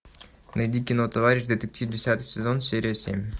найди кино товарищ детектив десятый сезон серия семь